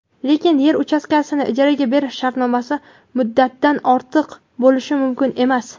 lekin yer uchastkasini ijaraga berish shartnomasi muddatidan ortiq bo‘lishi mumkin emas.